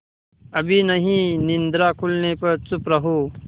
अभी नहीं निद्रा खुलने पर चुप रहो